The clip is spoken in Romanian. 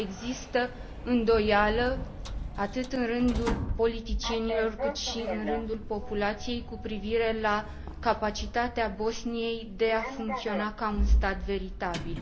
Există îndoială atât în rândul politicienilor, cât și în rândul populației cu privire la capacitatea Bosniei de a funcționa ca un stat veritabil.